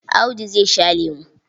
Audu zai sha lemo.